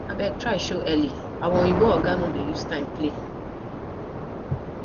abeg try show early our oyimbo oga no dey use time play